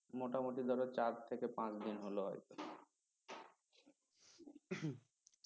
মোটামুটি ধর চার থেকে পাঁচ দিন হল আর কি